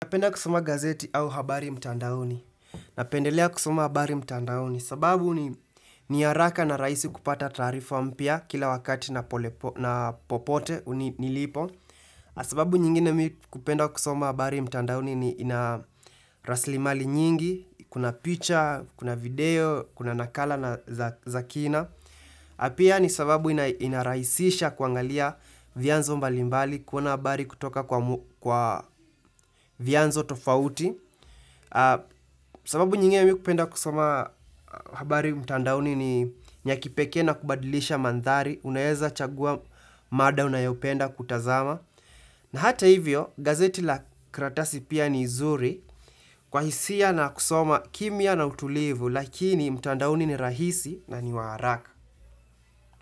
Napenda kusoma gazeti au habari mtandaoni. Napendelea kusoma habari mtandaoni. Sababu ni ni haraka na rahisi kupata taarifu ampya kila wakati na popote nilipo. Sababu nyingine kupenda kusoma habari mtandaoni ni ina rasilimali nyingi. Kuna picture, kuna video, kuna nakala na zakina. Pia ni sababu inarahisisha kuangalia vianzo mbalimbali. Kuna habari kutoka kwa vyanzo tofauti. Sababu nyingi ya mimi kupenda kusoma habari mtandaoni ni ya kipekee na kubadilisha mandhari Unaeza chagua mada unayopenda kutazama na hata hivyo gazeti la karatasi pia ni zuri Kwa hisia na kusoma kimya na utulivu lakini mtandaoni ni rahisi na ni wa haraka.